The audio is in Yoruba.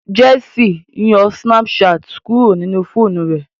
Jessy ń yo Snapchat kuro nínú fóònù rẹ.